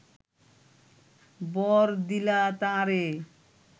বর দিলা তাঁরে